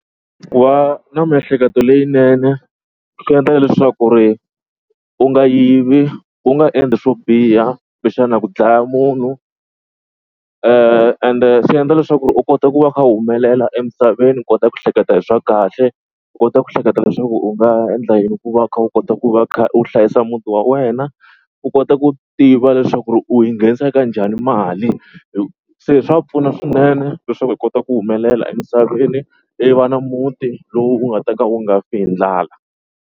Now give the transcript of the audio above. Ku va na miehleketo leyinene swi endla leswaku ri u nga yivi u nga endli swo biha kumbexana ku dlaya munhu ende swi endla leswaku u kota ku va u kha u humelela emisaveni. U kota ku hleketa hi swa kahle, u kota ku hleketa leswaku u nga endla yini ku va u kha u kota ku va u kha u hlayisa muti wa wena, u kota ku tiva leswaku ri u yi nghenisa kanjhani mali se swa pfuna swinene leswaku hi kota ku humelela emisaveni i va na muti lowu u nga ta ka u nga fi hi ndlala.